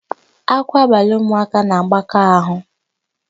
Ákwá abalị ụmụaka na-agbaka áhụ̀.